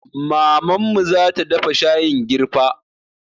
Mamanmu zata dafa shayin girfa